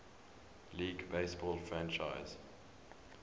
league baseball franchise